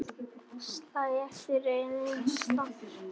Slæ aftur aðeins fastar.